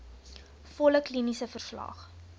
volle kliniese verslag